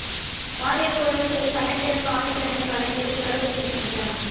பாலியல் உறவு செய்து கண்டக்டருக்கு ஆயுள் தண்டனை வழங்கியது கரூர் நீதிமன்றம்